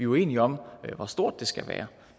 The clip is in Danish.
uenige om hvor stort det skal være